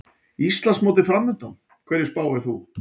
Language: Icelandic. Íslandsmótið framundan, hverju spáir þú?